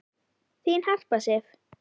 Þín Harpa Sif.